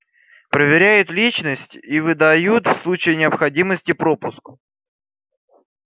проверяют личность и выдают в случае необходимости пропуск